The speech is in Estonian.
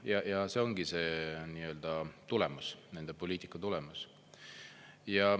Ja see ongi see tulemus, nende poliitika tulemas.